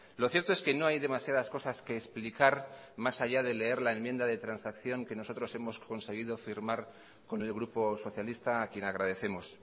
lo cierto es que no hay demasiadas cosas que explicar más allá de leer la enmienda de transacción que nosotros hemos conseguido firmar con el grupo socialista a quien agradecemos